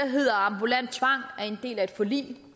hedder ambulant tvang er en del af et forlig